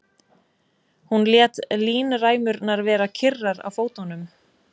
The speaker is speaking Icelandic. Hún lét línræmurnar vera kyrrar á fótunum.